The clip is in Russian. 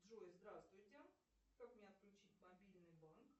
джой здравствуйте как мне отключить мобильный банк